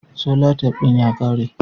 Solatif din ya ƙare.